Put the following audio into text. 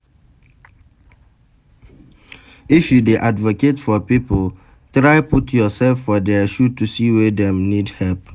If you dey advocate for pipo, try put youself for their shoe to see why dem need help